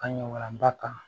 An ɲɔgɔn walanba kan